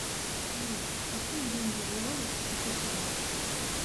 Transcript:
салют какие деньги в уоллис и футуна